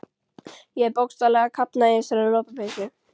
Ég er bókstaflega að kafna í þessari lopapeysu.